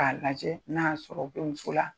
K'a lajɛ n'a y'a sɔrɔ o bɛ muso la.